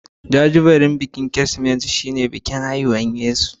Jajibirin Kirsimeti shine bikin haifuwar Yesu.